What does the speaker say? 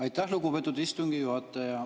Aitäh, lugupeetud istungi juhataja!